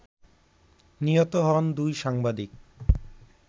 নিহত হন দুই সাংবাদিক